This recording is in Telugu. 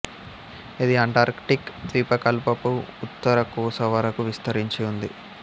ఇది అంటార్కిటిక్ ద్వీపకల్పపు ఉత్తర కొస వరకూ విస్తరించి ఉంది